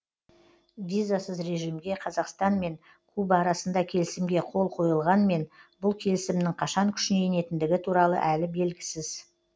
визасыз режимге қазақстанмен куба арасында келісімге қол қойылғанмен бұл келісімнің қашан күшіне енетіндігі туралы әлі белгісіз